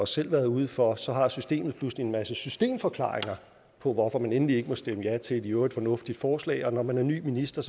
selv været ude for og så har systemet pludselig en masse systemforklaringer på hvorfor man endelig ikke må stemme ja til et i øvrigt fornuftigt forslag og når man er ny minister